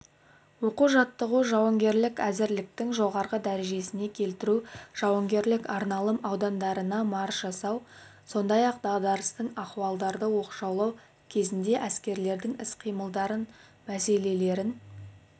оқу-жаттығу жауынгерлік әзірліктің жоғары дәрежесіне келтіру жауынгерлік арналым аудандарына марш жасау сондай-ақ дағдарыстық ахуалдарды оқшаулау кезінде әскерлердің іс-қимылдары мәселелерін